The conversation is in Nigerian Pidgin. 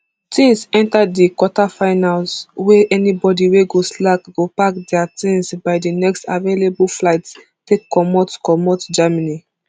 tins enta di quarterfinals wey anibody wey go slack go pack dia tins by di next available flight take comot comot germany